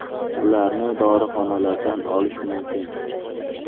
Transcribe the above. Ularni dorixonalardan olish mumkin.